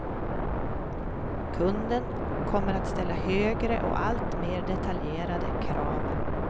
Kunden kommer att ställa högre och alltmer detaljerade krav.